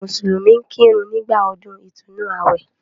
Àwọn mùsùlùmí ń kírun nígbà ọdún ìtúnnu àwẹ̀.